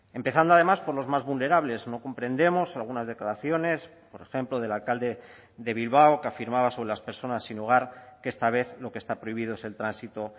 empezando además por los más vulnerables no comprendemos algunas declaraciones por ejemplo del alcalde de bilbao que afirmaba sobre las personas sin hogar que esta vez lo que está prohibido es el tránsito